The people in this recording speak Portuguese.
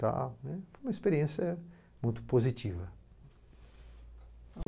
tal, né, foi uma experiência muito positiva.